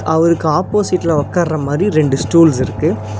அவருக்கு ஆப்போசிட்ல ஒக்கார்ர மாரி ரெண்டு ஸ்டூல்ஸ் இருக்கு.